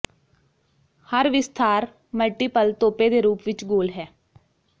ਹਰ ਵਿਸਥਾਰ ਮਲਟੀਪਲ ਤੋਪੇ ਦੇ ਰੂਪ ਵਿਚ ਗੋਲ ਹੈ